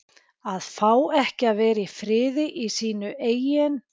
AÐ FÁ EKKI AÐ VERA Í FRIÐI Í SÍNU EIGIN